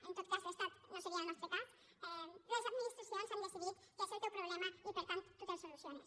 en tot cas l’estat no seria el nostre cas les administra·cions han decidit que és el teu problema i per tant tu te’l soluciones